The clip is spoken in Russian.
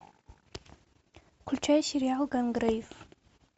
включай сериал гангрейв